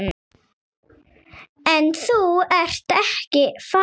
En þú ert ekki farinn.